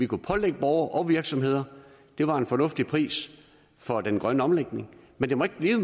kunne pålægge borgere og virksomheder det var en fornuftig pris for den grønne omlægning men den må ikke blive